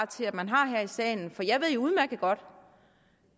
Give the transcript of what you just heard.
til at man har her i salen for jeg ved jo udmærket godt